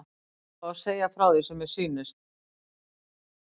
Ég verð að fá að segja frá því sem mér sýnist.